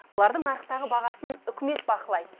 бұлардың нарықтағы бағасын үкімет бақылайды